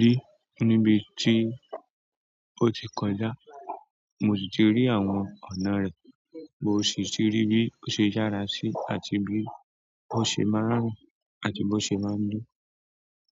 ri níbi tí ó ti kọjá, mo sì ti rí àwọn ọ̀nà rẹ̀, mó sì ti rí bí ó ṣe yàrá sí, àti bí ó ṣe máa ń rìn àti bó ṣe máa ń lọ.